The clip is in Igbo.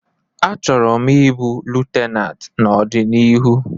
Achọrọ m ịbụ Lutenat n'ọdịnihu